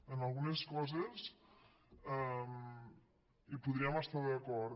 en algunes coses hi podríem estar d’acord